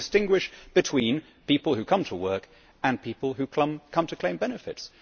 They want to distinguish between people who come to work and people who come to claim benefits.